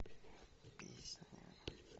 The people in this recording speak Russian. песня